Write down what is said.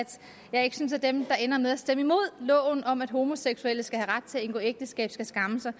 jeg ikke synes at dem der ender med at stemme imod loven om at homoseksuelle skal have ret til at indgå ægteskab skal skamme sig